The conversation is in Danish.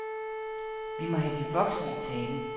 Vi må have de voksne i tale.